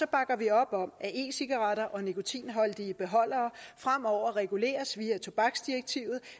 bakker vi op om at e cigaretter og nikotinholdige beholdere fremover reguleres via tobaksdirektivet